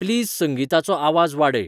please संंगीताचो आवाज वाडय